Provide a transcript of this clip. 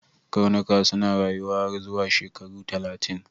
Karnuka suna rayuwa har zuwa shekaru talatin.